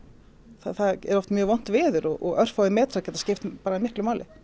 það er oft mjög vont veður og örfáir metrar geta skipt miklu máli